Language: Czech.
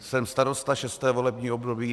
Jsem starosta šesté volební období.